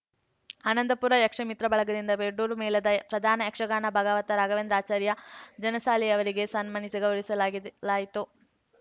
ಆನಂದಪುರ ಯಕ್ಷಮಿತ್ರ ಬಳಗದಿಂದ ಬೆಡೂರು ಮೇಳದ ಪ್ರಧಾನ ಯಕ್ಷಗಾನ ಭಗವತ ರಾಘವೇಂದ್ರ ಆಚಾರ್ಯ ಜನಸಾಲೆಯವರಿಗೆ ಸನ್ಮಾನಿಸಿ ಗೌರವಿಸಲಾಗಿದೆಲಾಯಿತು